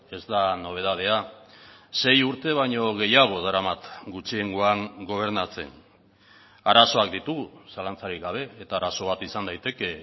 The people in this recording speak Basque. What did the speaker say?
ez da nobedadea sei urte baino gehiago daramat gutxiengoan gobernatzen arazoak ditugu zalantzarik gabe eta arazo bat izan daiteke